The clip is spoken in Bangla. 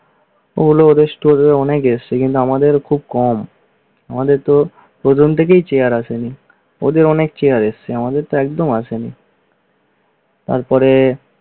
ওগুলো ওদের store এ অনেক এসেছে, কিন্তু আমাদের খুব কম আমাদেরতো প্রথম থেকেই চেয়ার আসেনি। ওদের অনেক চেয়ার এসেছে আমাদেরতো একদম আসেনি। তারপরে